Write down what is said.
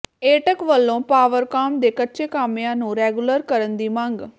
ਏਟਕ ਵੱਲੋਂ ਪਾਵਰਕਾਮ ਦੇ ਕੱਚੇ ਕਾਮਿਆਂ ਨੂੰ ਰੈਗੂਲਰ ਕਰਨ ਦੀ ਮੰਗ